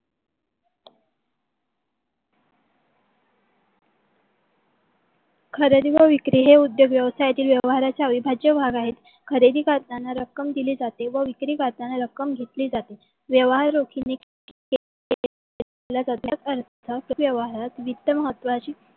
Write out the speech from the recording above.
खरेदी व विक्री हे उद्योग व्यवसायातील व्यवहाराच्या अविभाज्य भाग आहे. खरेदी करतांना रक्कम दिली जाते. व विक्री करतांना रक्कम घेतली जाते. व्यवहार रोखीने त्या अर्थ त्या व्यवहारात वित्त महत्वची